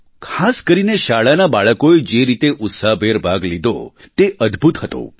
ખાસ કરીને શાળાના બાળકોએ જે રીતે ઉત્સાહભેર ભાગ લીધો તે અદભુત હતું